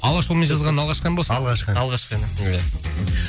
алашұлымен жазған алғашқы ән ба осы алғашқы ән алғашқы ән иә